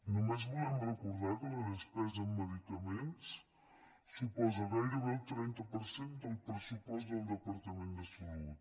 només volem recordar que la despesa en medicaments suposa gairebé el trenta per cent del pressupost del departament de salut